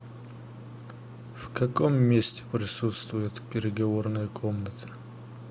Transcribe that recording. в каком месте присутствует переговорная комната